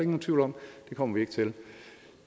nogen tvivl om det kommer vi ikke til